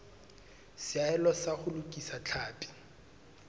seahelo sa ho lokisa tlhapi